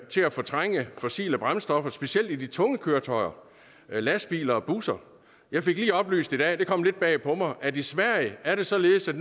til at fortrænge fossile brændstoffer specielt i de tunge køretøjer lastbiler og busser jeg fik lige oplyst i dag det kom lidt bag på mig at i sverige er det således at